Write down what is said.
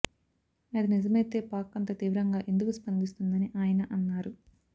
అది నిజమైతే పాక్ అంత తీవ్రంగా ఎందుకు స్పందిస్తుందని ఆయన అన్నారు